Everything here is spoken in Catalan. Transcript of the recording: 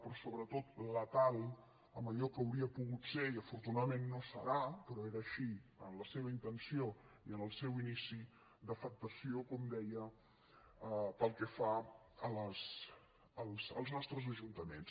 però sobretot letal en allò que hauria pogut ser i afortunadament no serà però era així en la seva intenció i en el seu inici d’afectació com deia pel que fa als nostres ajuntaments